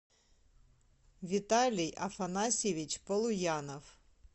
виталий афанасьевич полуянов